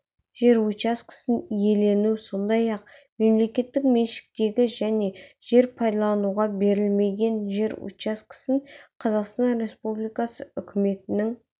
жер учаскесін иелену сондай-ақ мемлекеттік меншіктегі және жер пайдалануға берілмеген жер учаскесін қазақстан республикасы үкіметінің